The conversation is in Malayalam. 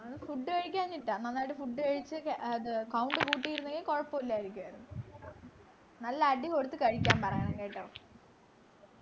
food കഴിക്കാഞ്ഞിട്ടാ നന്നായിട്ടു food കഴിച്ചു അത് count കൂട്ടിയിരുന്നെങ്കി കൊഴപ്പമില്ലാതിരിക്കുആയിരുന്നു നല്ല അടി കൊടുത്തു കഴിക്കാൻ പറയണം കേട്ടോ